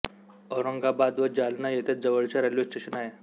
औरंगाबाद व जालना येथे जवळचे रेल्वे स्टेशन आहे